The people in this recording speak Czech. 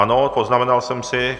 Ano, poznamenal sem si.